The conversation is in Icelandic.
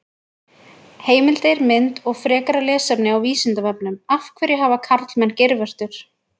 Heimildir, mynd og frekara lesefni á Vísindavefnum: Af hverju hafa karlmenn geirvörtur?